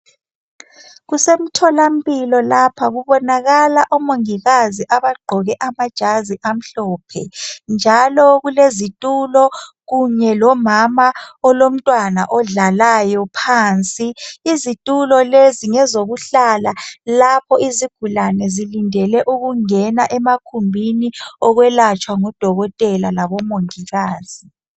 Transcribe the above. Kusemtholampilo lapha kubonakala omongikazi abagqoke amajazi amhlophe njalo kulezitulo kunye lomama olomntwana odlalayo phansi izitulo lezi ngezokuhlala lapho izigulane zilindele ukungena emakhumbini okwelatshwa ngudokotela labomongikazi.